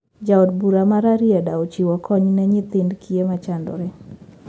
Ja od bura ma rarieda ochiwo kony ne nyithind kiye machandore